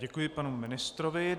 Děkuji panu ministrovi.